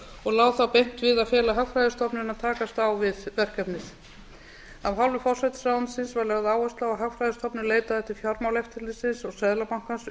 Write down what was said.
og lá þá beint við að fela hagfræðistofnun að takast á við verkefnið af hálfu forsætisráðuneytisins var lögð áhersla á að hagfræðistofnun leitaði til fjármálaeftirlitsins og seðlabankans um